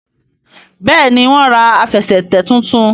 Béèni wón rà Àfẹsẹ̀tẹ̀ títún.